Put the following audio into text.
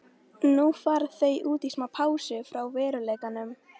Ekki leynir sér í formála þeirra Magnúsar og Jóns afsökunartónninn.